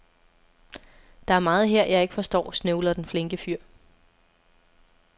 Der er meget her, jeg ikke forstår, snøvler den flinke fyr.